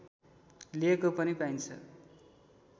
लिएको पनि पाइन्छ